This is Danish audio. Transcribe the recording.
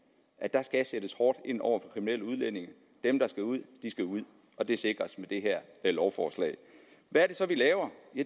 at der skal sættes hårdt ind over for kriminelle udlændinge dem der skal ud skal ud og det sikres med det her lovforslag hvad er det så vi laver